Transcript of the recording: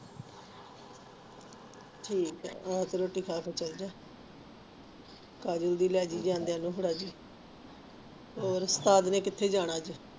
ਠੀਕ ਹੈ ਤੇ ਰੋਟੀ ਖਾਕੇ ਚਾਲਜਾ ਕਾਜਲ ਦੀ ਲਾਇ ਜੀ ਜਾਂਦੀਆਂ ਨੂੰ ਫੜਾਜੀ ਹੋਰ ਕਿਥੇ ਜਾਣਾ ਫਰ